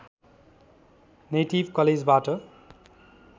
native कलेजबाट